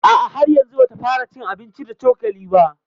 A a, har yanzu bata fara cin abinci da cokali ba